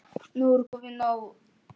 Nú er komið nóg!